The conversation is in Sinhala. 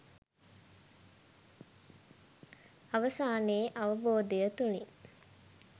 අවසානයේ අවබෝධය තුලින්